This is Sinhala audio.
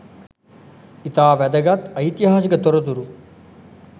ඉතා වැදගත් ඓතිහාසික තොරතුරු